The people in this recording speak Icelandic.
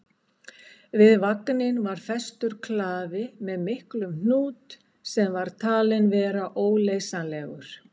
Við vagninn var festur klafi með miklum hnút sem var talinn vera óleysanlegur.